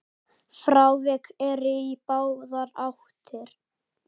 Frávik eru í báðar áttir.